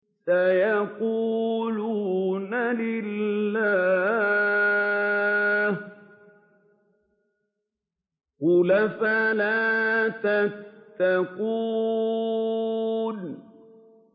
سَيَقُولُونَ لِلَّهِ ۚ قُلْ أَفَلَا تَتَّقُونَ